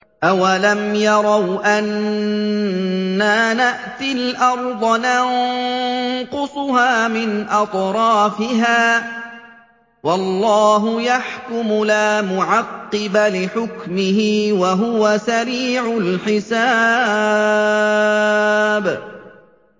أَوَلَمْ يَرَوْا أَنَّا نَأْتِي الْأَرْضَ نَنقُصُهَا مِنْ أَطْرَافِهَا ۚ وَاللَّهُ يَحْكُمُ لَا مُعَقِّبَ لِحُكْمِهِ ۚ وَهُوَ سَرِيعُ الْحِسَابِ